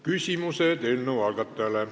Küsimused eelnõu algatajale.